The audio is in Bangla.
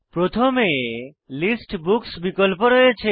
প্রথমে লিস্ট বুকস বিকল্প রয়েছে